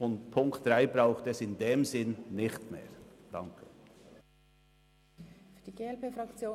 Den Punkt 3 braucht es in diesem Sinn nicht mehr.